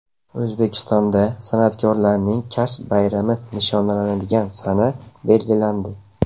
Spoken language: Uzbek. O‘zbekistonda san’atkorlarning kasb bayrami nishonlanadigan sana belgilandi.